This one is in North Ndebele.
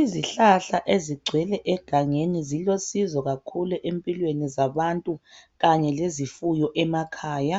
Izihlahla ezigcwele egangeni ziloncedo kakhulu empilweni zabantu kanye lezifuyo emakhaya